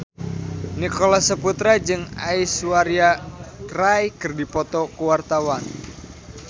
Nicholas Saputra jeung Aishwarya Rai keur dipoto ku wartawan